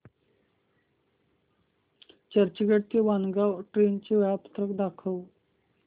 चर्चगेट ते वाणगांव ट्रेन चे वेळापत्रक दाखव